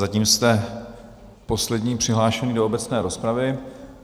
Zatím jste poslední přihlášený do obecné rozpravy.